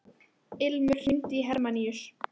Ilmur, hringdu í Hermanníus.